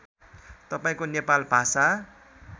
तपाईँको नेपाल भाषा